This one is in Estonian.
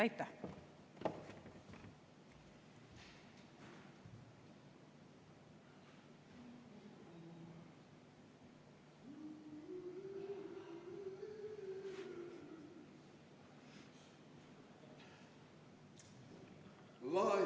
Aitäh!